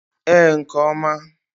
Ee, nke oma.